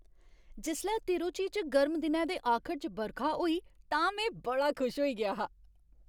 जिसलै तिरुचि च गर्म दिनै दे आखर च बरखा होई तां में बड़ा खुश होई गेआ हा।